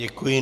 Děkuji.